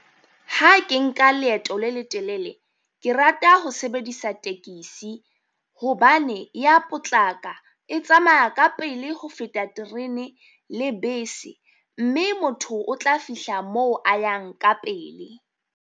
Ha ke nka leeto le letelele, ke rata ho sebedisa tekesi, hobane ya potlaka e tsamaya ka pele ho feta terene le bese. Mme motho o tla fihla moo a yang ka pele.